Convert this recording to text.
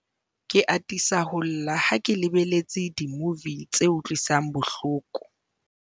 ke atisa ho lla ha ke lebelletse dimuvi tse utlwisang bohloko